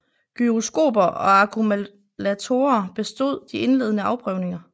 Gyroskoper og akkumulatorer bestod de indledende afprøvninger